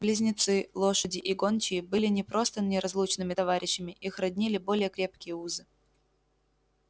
близнецы лошади и гончие были не просто неразлучными товарищами их роднили более крепкие узы